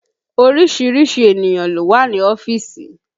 Orísìírísìí ènìyàn ló wà ní ọ́fíìsì